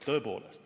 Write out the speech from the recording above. " Tõepoolest.